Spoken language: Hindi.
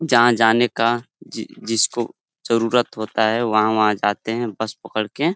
जहाँ जाने का जि जिसको जरुरत होता है वहाँ-वहाँ जाते हैं बस पकड़ के।